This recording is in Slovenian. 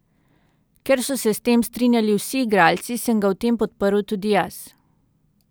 Ker so se s tem strinjali vsi igralci, sem ga v tem podprl tudi jaz.